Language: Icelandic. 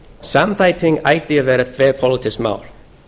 samþætting ætti að vera þverpólitískt mál